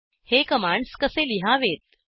हे कमांड्स कसे लिहावेत